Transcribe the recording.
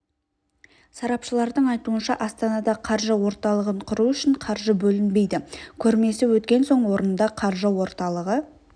сарапшылардың айтуынша астанада қаржы орталығын құру үшін қаржы бөлінбейді көрмесі өткен соң орнында қаржы орталығы